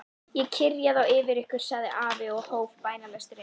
Ég kyrja þá yfir ykkur, sagði afi og hóf bænalesturinn.